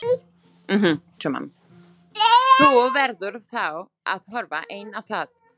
Þú verður þá að horfa einn á það.